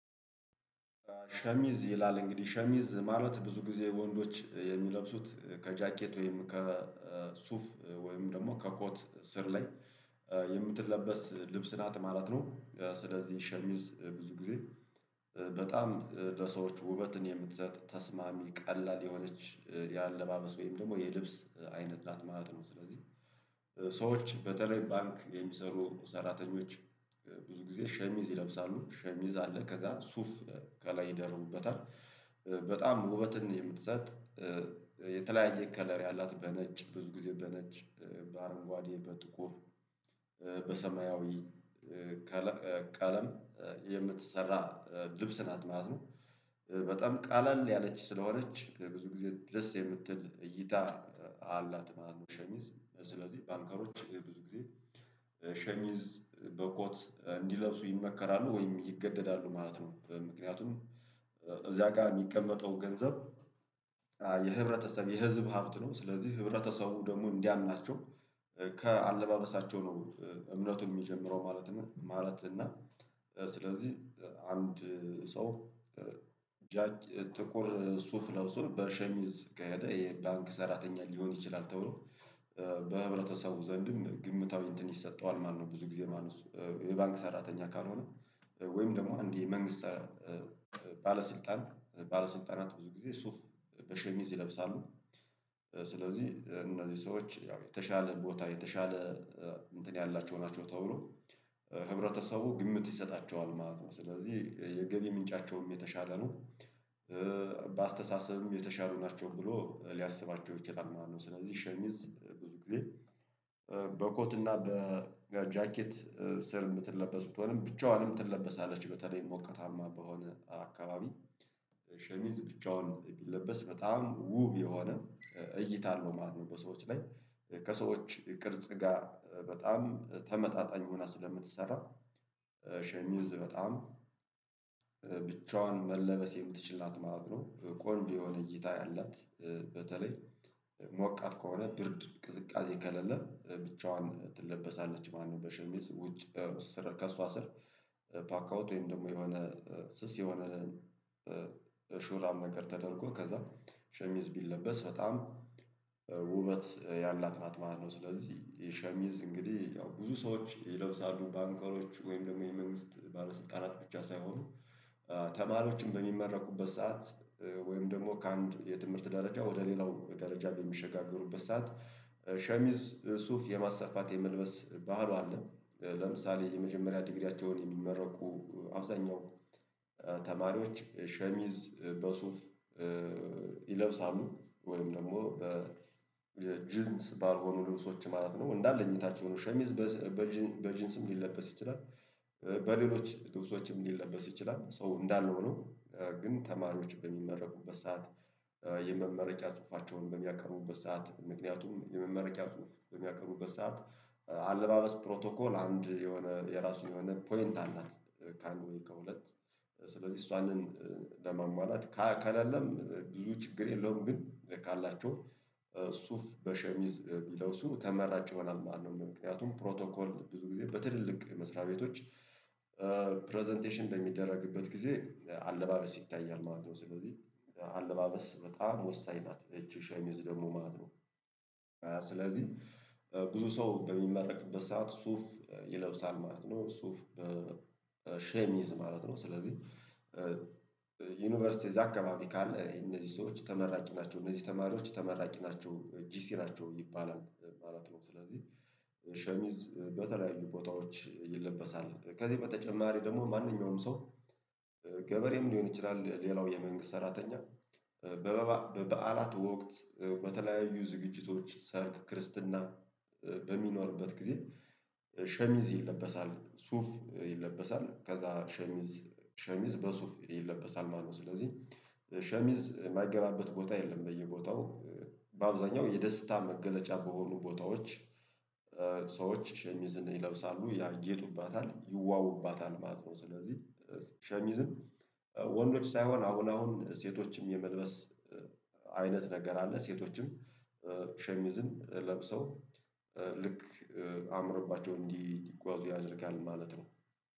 ሸሚዝ ይላል እንግዲህ ሸሚዝ ማለት ብዙ ጊዜ ወንዶች የሚለብሱት ከጃኬት ወይም ከሱፍ ወይም ደግሞ ከኮት ስር ላይ የምትለበስ ልብስ ናት ማለት ነው። ስለዚህ ሸሚዝ ብዙ ጊዜ በጣም ለሰዎች ውበትን የምትሰጥ ተስማሚ ቀላል የሆነች የአለባበስ ወይም ደግሞ የልብስ አይነት ናት ማለት ነው። ስለዚህ ሰዎች በተለይ ባንክ የሚሰሩ ሰራተኞች ብዙ ጊዜ ሸሚዝ ይለብሳሉ ሸሚዝ አለ ከዛ ሱፍ ከላይ ይደርቡበታል። በጣም ውበትን የምትሰጥ የተለያየ ከለር ያላት በነጭ ብዙ ጊዜ በነጭ በአረንጓዴ በጥቁር በሰማያዊ ቀለም የምትሰራ ልብስ ናት ማለት ነው። በጣም ቀለል ያለች ስለሆነች ብዙ ጊዜ ደስ የምትል እይታ አላት ማለት ነው። ሸሚዝ ስለዚህ ባንከሮች ብዙ ጊዜ ሸሚዝ በበኮት እንዲለብሱ ይመከራሉ ወይም ይገደዳሉ ማለት ነው። ምክንያቱም እዚያ ጋር የሚቀመጠው ገንዘብ የህብረተሰብ የህዝብ ሀብት ነው ስለዚህ ህብረተሰቡ ደግሞ እንዲያምናቸው ከአለባበሳቸው ነው እምነቱ የሚጀምረው ማለት ነው። ማለት እና ስለዚህ አንድ ሰው ጃክ ጥቁር ሱፍ ለብሶ በሸሚዝ ከሄደ የባንክ ሰራተኛ ሊሆን ይችላል ተብሎ በህብረተሰቡ ዘንድም ግምታዊ እንትን ይሰጠዋል ማለት ነው። ብዙ ጊዜ ማለት ነው የባንክ ሰራተኛ ካልሆነ ወይም ደግሞ አንድ የመንግስት ባለስልጣን ባለስልጣናት ብዙ ጊዜ ሱፍ በሸሚዝ ይለብሳሉ። ስለዚህ እነዚህ ሰዎች ያው የተሻለ ቦታ የተሻለ እንትን ያላቸው ናቸው ተብሎ ህብረተሰቡ ግምት ይሰጣቸዋል ማለት ነው። ስለዚህ የገቢ ምንጫቸውም የተሻለ ነው። በአስተሳሰብም የተሻሉ ናቸው ብሎ ሊያስባቸው ይችላል ማለት ነው። ስለዚህ ሸሚዝ ብዙ ጊዜ በኮት እና በጃኬት ስር የምትለበስ ብትሆንም ብቻዋንም ትለበሳለች በተለይ ሞቀታማ በሆነ አካባቢ ሸሚዝ ብቻውን ቢለበስ በጣም ውብ የሆነ እይታ አለው ማለት ነው። በሰዎች ላይ ከሰዎች ቅርጽ ጋር በጣም ተመጣጣኝ ሆና ስለምትሰራ ሸሚዝ በጣም ብቻዋን መለበስ የምትችል ናት ማለት ነው። ቆንጆ የሆነ እይታ ያላት በተለይ ሞቃት ከሆነ ብርድ ቅዝቃዜ ከሌለ ብቻዋን ትለበሳለች ማለትነው። በሸሚዝ ውጭ ስር ከእሷ ስር ፓካውት ወይም ደግሞ የሆነ ስስ የሆነ ሹራብ ነገር ተደርጎ ከዛ ሸሚዝ ቢለበስ በጣም ውበት ያላት ናት ማለት ነው። ስለዚህ የሸሚዝ እንግዲህ ያው ብዙ ሰዎች ይለብሳሉ ባንከሮች ወይም ደግሞ የመንግስት ባለስልጣናት ብቻ ሳይሆኑ ተማሪዎችም በሚመረቁበት ሰዓት ወይም ደግሞ ከአንድ የትምህርት ደረጃ ወደ ሌላው ደረጃ በሚሸጋገሩበት ሰዓት ሸሚዝ ሱፍ የማሰፋት የመልበስ ባህሉ አለ። ለምሳሌ የመጀመሪያ ዲግሪያቸውን የሚመረቁ አብዛኛው ተማሪዎች ሸሚዝ በሱፍ ይለብሳሉ ወይም ደግሞ በ ጂንስ ባልሆኑ ልብሶች ማለት ነው። እንዳለ እኝታችሁ ሸሚዝ በጅንስም ሊለበስ ይችላል። በሌሎች ልብሶችም ሊለበስ ይችላል ሶ እንዳለ ሆኖ ግን ተማሪዎች በሚመረቁበት ሰዓት የመመረቂያ ጽሁፋቸውን በሚያቀርቡበት ሰዓት ምክንያቱም የመመረቂያ ጽሁፍ በሚያቀርቡበት ሰዓት አለባበስ ፕሮቶኮል አንድ የሆነ የራሱን የሆነ ፖይንት አላት። ከአንድ ወይ ከሁለት ስለዚህ እሷንን ለማሟላት ከ ከሌለም ብዙ ችግር የለውም። ግን ካላቸው ሱፍ በሸሚዝ ቢለብሱ ተመራጭ ይሆናል ማለት ነው። ምክንያቱም ፕሮቶኮል ብዙ ጊዜ በትልልቅ መስሪያ ቤቶች በሚደረግበት ጊዜ አለባበስ ይታያል ማለት ነው። ስለዚህ አለባበስ በጣም ወሳኝ ናት እቺ ሸሚዝ ደግሞ ማለት ነው። ስለዚህ ብዙ ሰው በሚመረቅበት ሰዓት ሱፍ ይለብሳል ማለት ነው። ሱፍ በሸሚዝ ማለት ነው ስለዚህ እዛ አካባቢ ካለ እነዚህ ሰዎች ተመራቂ ናቸው እነዚህ ተማሪዎች ተመራቂ ናቸው ጂሲ ናቸው ይባላል ማለት ነው። ስለዚህ ሸሚዝ በተለያዩ ቦታዎች ይለበሳል። ከዚህ በተጨማሪ ደግሞ ማንኛውም ሰው ገበሬም ሊሆን ይችላል። ሌላው የመንግስት ሰራተኛ በበዓላት ወቅት በተለያዩ ዝግጅቶች ሰርግ ክርስትና በሚኖርበት ጊዜ ሸሚዝ ይለበሳል። ሱፍ ይለበሳል ከዛ ሸሚዝ ሸሚዝ በሱፍ ይለበሳል ማለት ነው። ስለዚህ ሸሚዝ የማይገባበት ቦታ የለም። በየቦታው በአብዛኛው የደስታ መገለጫ በሆኑ ቦታዎች ሰዎች ሸሚዝን ይለብሳሉ ያጌጡባታል ይዋቡባታል ማለት ነው። ስለዚህ ሸሚዝን ወንዶች ሳይሆን አሁን አሁን ሴቶችም የመልበስ ነገር አለ። ሴቶችም ሸሚዝን ለብሰው ልክ አምሮባቸው እንዲጓዙ ያደርጋል ማለት ነው